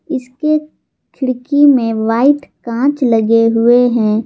इसके खिड़की में व्हाइट कांच लगे हुए हैं।